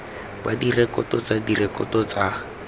ba direkoto tsa direkoto tsa